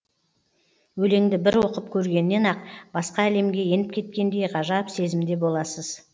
өлеңді бір оқып көргеннен ақ басқа әлемге еніп кеткендей ғажап сезімде боласыз